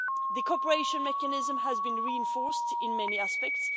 The cooperation mechanism has been reinforced in many aspects.